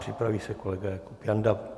Připraví se kolega Jakub Janda.